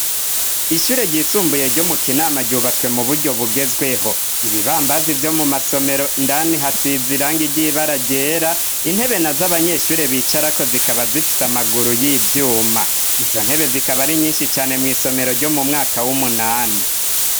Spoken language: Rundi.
Ishure ryisumbuye ryo mu kinama ryubatswe mu buryo bugezweho ibibambazi vyo mu masomero ndani hasizirang igibara gera intebe na z'abanyeshure bicarako zikaba zifise amaguru y'ivyuma izo ntebe zikaba ari nyinshi cane mu isomero ryo mu mwaka w'umunani.